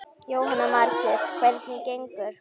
Jóhanna Margrét: Hvernig gengur?